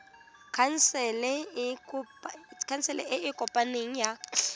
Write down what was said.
khansele e e kopaneng ya